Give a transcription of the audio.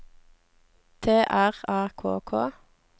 T R A K K